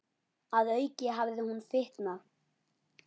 Að auki hafði hún fitnað.